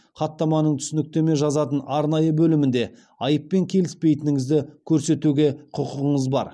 хаттаманың түсініктеме жазатын арнайы бөлімде айыппен келіспейтініңізді көрсетуге құқығыңыз бар